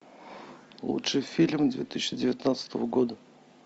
лучший фильм две тысячи девятнадцатого года